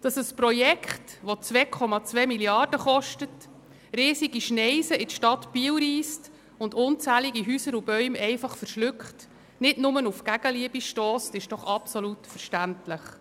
Dass das Projekt, das 2,2 Mrd. Franken kostet, eine riesige Schneise in die Stadt Biel reisst und unzählige Häuser und Bäume einfach verschluckt, nicht nur auf Gegenliebe stösst, ist doch absolut verständlich.